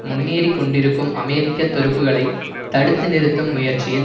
முன்னேறிக் கொண்டிருக்கும் அமெரிக்க துருப்புக்களை தடுத்து நிறுத்தும் முயற்சியில்